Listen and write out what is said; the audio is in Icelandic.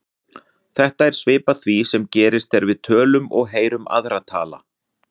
Þetta er svipað því sem gerist þegar við tölum og heyrum aðra tala.